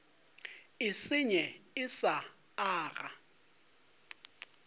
e senye e sa aga